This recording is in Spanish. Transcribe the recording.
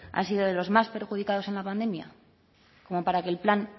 han sido de los más perjudicados en la pandemia como para que el plan